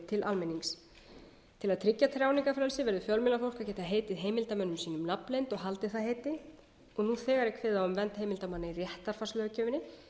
til almennings til að tryggja tjáningarfrelsi verði fjölmiðlafólk að geta heitið heimildarmönnum sínum nafnleynd og haldið það heiti og nú þegar er kveðið á um vernd heimildarmanna í réttarfarslöggjöfinni